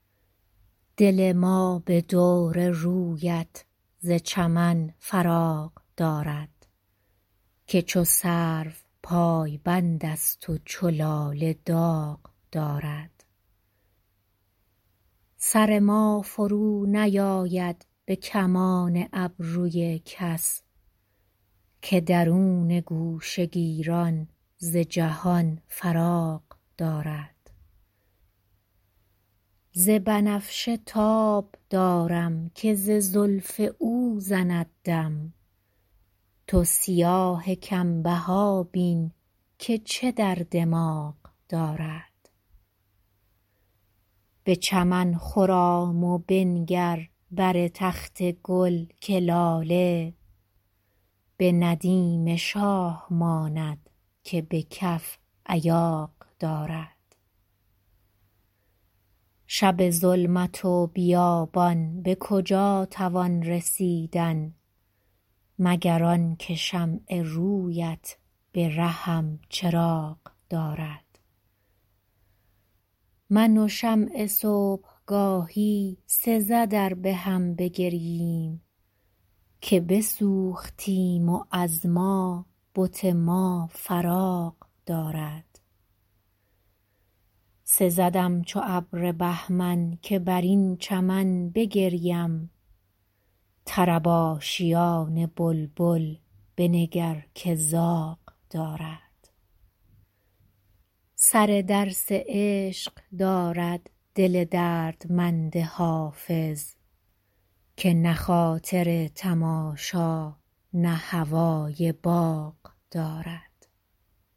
دل ما به دور رویت ز چمن فراغ دارد که چو سرو پایبند است و چو لاله داغ دارد سر ما فرونیآید به کمان ابروی کس که درون گوشه گیران ز جهان فراغ دارد ز بنفشه تاب دارم که ز زلف او زند دم تو سیاه کم بها بین که چه در دماغ دارد به چمن خرام و بنگر بر تخت گل که لاله به ندیم شاه ماند که به کف ایاغ دارد شب ظلمت و بیابان به کجا توان رسیدن مگر آن که شمع روی ات به رهم چراغ دارد من و شمع صبح گاهی سزد ار به هم بگرییم که بسوختیم و از ما بت ما فراغ دارد سزدم چو ابر بهمن که بر این چمن بگریم طرب آشیان بلبل بنگر که زاغ دارد سر درس عشق دارد دل دردمند حافظ که نه خاطر تماشا نه هوای باغ دارد